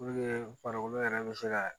Puruke farikolo yɛrɛ bɛ se ka